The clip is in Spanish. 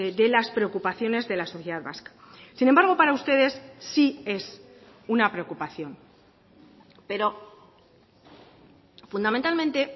de las preocupaciones de la sociedad vasca sin embargo para ustedes sí es una preocupación pero fundamentalmente